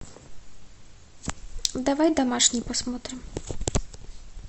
давай домашний посмотрим